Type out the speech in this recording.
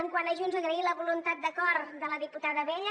quant a junts agrair la voluntat d’acord de la diputada abella